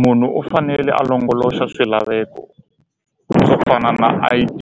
Munhu u fanele a longoloxa swilaveko swo fana na I_D